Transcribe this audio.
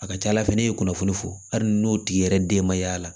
A ka ca ala fɛ ne ye kunnafoni fɔ hali n'o tigi yɛrɛ den ma y'a la